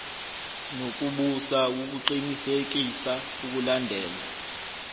nokubusa ukuqinisekisa ukulandelwa